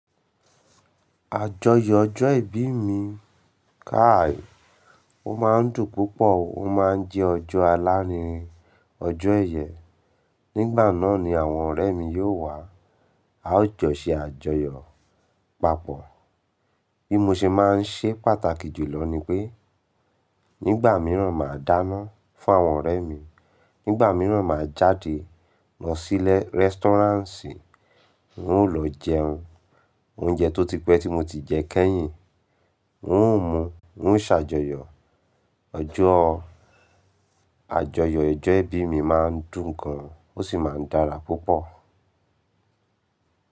Àjọyọ̀ ọjọ́ ìbí mi káì Ó máa ń dùn púpọ̀, ó máa ń jẹ́ ọjọ́ alárinrin, ọjọ́ ẹ̀yẹ. Nígbà náà ni àwọn ọ̀rẹ́ mi yóò wá. A ó jọ ṣe àjọyọ̀ papọ̀. Bí mo ṣe máa ń ṣeé pàtàkì jùlọ ni pé nígbà míràn, màá dáná fún àwọn ọ̀rẹ́ mi, nígbà míràn, màá jáde lọ sí restaurant, n ó lọ jẹun. Oúnjẹ tó ti pẹ́ tí mo ti jẹ kẹ́yìn, n ó mú, n ó ṣàjọyọ̀. Ọjọ́ àjọyọ̀ ijọ́ ìbí mi máa ń dùn gan, ó sì máa ń dára púpọ̀.